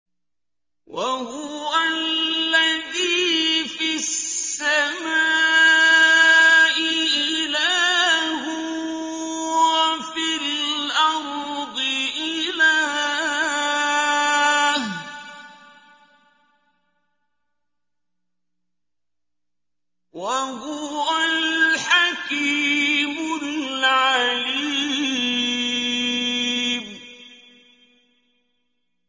وَهُوَ الَّذِي فِي السَّمَاءِ إِلَٰهٌ وَفِي الْأَرْضِ إِلَٰهٌ ۚ وَهُوَ الْحَكِيمُ الْعَلِيمُ